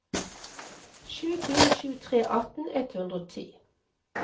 sju fire sju tre atten ett hundre og ti